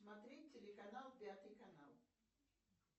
смотреть телеканал пятый канал